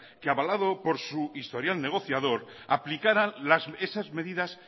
que avalado por su historial negociador aplicara esas medidas